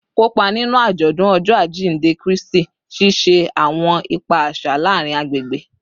Kopa ninu ajọdun Ọjọ ajinde Kristi, ṣiṣe awọn ipa aṣa laarin agbegbe